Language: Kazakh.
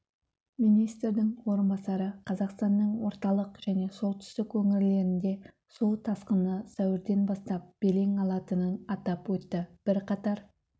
министрдің орынбасары қазақстанның орталық және солтүстік өңірлерінде су тасқыны сәуірден бастап белең алатынын атап өтті бірқатар